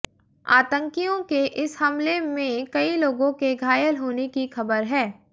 आतंकियों के इस हमले में कई लोगों के घायल होने की खबर है